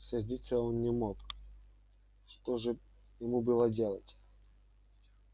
сердиться он не мог что же ему было делать